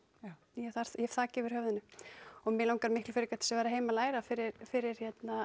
ég hef þak yfir höfuðið og mig langar miklu meira að vera heima að læra fyrir fyrir